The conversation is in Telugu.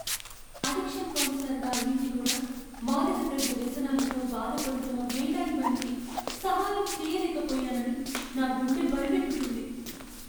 అడిక్షన్ కౌన్సిలర్గా అయి ఉండి కూడా, మాదకద్రవ్య వ్యసనాలతో బాధపడుతున్న వేలాది మందికి సహాయం చేయలేకపోయానని నా గుండె బరువెక్కుతుంది.